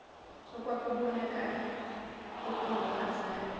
okwakubon akala okunokwazana